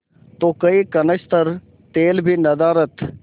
तो कई कनस्तर तेल भी नदारत